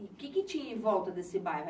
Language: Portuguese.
O que tinha em volta desse bairro?